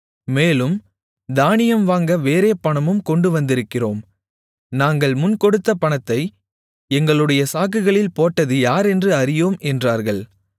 மேலும் தானியம் வாங்க வேறே பணமும் கொண்டு வந்திருக்கிறோம் நாங்கள் முன் கொடுத்த பணத்தை எங்களுடைய சாக்குகளில் போட்டது யாரென்று அறியோம் என்றார்கள்